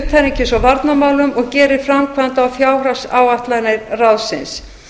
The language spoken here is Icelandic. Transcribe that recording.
utanríkis og varnarmálum og gerir framkvæmda og fjárhagsáætlanir ráðsins